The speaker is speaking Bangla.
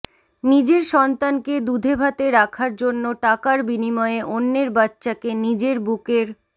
নিজের সন্তানকে দুধে ভাতে রাখার জন্য টাকার বিনিময়ে অন্যের বাচ্চাকে নিজের বুকের